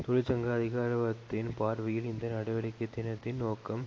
தொழிற்சங்க அதிகாரவத்தின் பார்வையில் இந்த நடவடிக்கை தினத்தின் நோக்கம்